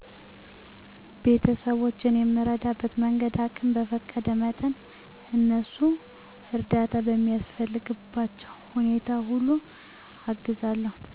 ቤተስቦቼን የምረዳበት መንገድ አቅም በፈቀደ መጠን እነሱ እርዳታ በሚያስፈልግባቸዉ ሁኔታ ሁሉ አግዛለዉ